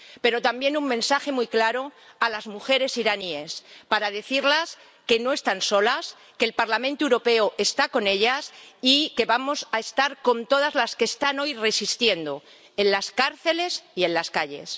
Pero también un mensaje muy claro a las mujeres iraníes, para decirles que no están solas, que el Parlamento Europeo está con ellas y que vamos a estar con todas las que están hoy resistiendo, en las cárceles y en las calles.